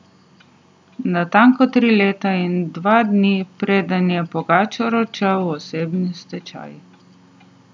Natanko tri leta in dva dni, preden je Pogačar odšel v osebni stečaj.